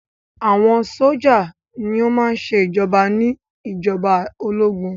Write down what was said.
Àwọn sójà ní o má ń ṣe ìjoba ní ìjọba ológun.